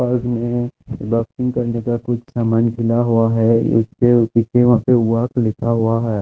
Park में laughing करने का कुछ सामान हुआ है इसके पीछे वहां पे वर्क लिखा हुआ है।